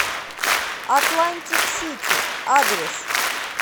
атлантик сити адрес